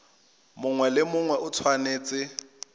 mongwe le mongwe o tshwanetse